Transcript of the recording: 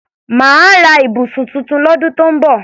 Màá ra ibùsùn tuntun lọ́dún tó ń bọ̀